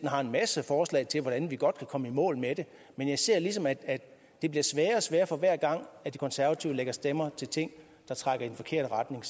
har en masse forslag til hvordan vi godt kan komme i mål med det men jeg ser ligesom at det bliver sværere og sværere for hver gang de konservative lægger stemmer til ting der trækker i den forkerte retning